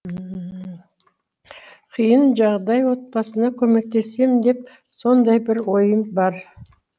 қиын жағдай отбасына көмектесем деп сондай бір ойым бар